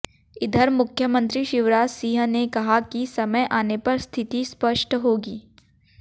इधर मुख्यमंत्री शिवराज सिंह ने कहा कि समय आने पर स्थिति स्पष्ट होगी